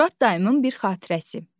Murad dayımın bir xatirəsi.